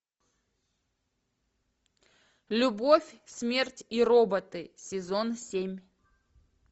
любовь смерть и роботы сезон семь